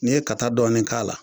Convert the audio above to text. N'i ye kata dɔɔnin k'a la